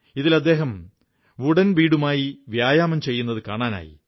ഇതിൽ അദ്ദേഹം വുഡൻ ബീഡുമായി വ്യായാമം ചെയ്യുന്നത് കാണാനായി